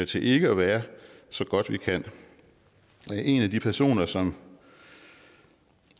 til ikke at være så godt vi kan en af de personer som